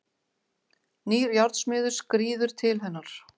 Nýr járnsmiður skríður til hennar.